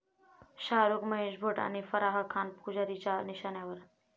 शाहरूख, महेश भट आणि फराह खान पुजारीच्या निशाण्यावर?